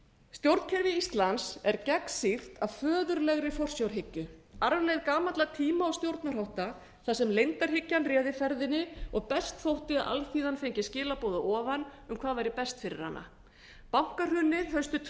stjórnkerfi íslands er gegnsýrt af föðurlegri forsjárhyggju arfleifð gamalla tíma og stjórnarhátta þar sem leyndarhyggjan réði ferðinni og best þótti að alþýðan fengi skilaboð að ofan um hvað væri best fyrir hana bankahrunið haustið tvö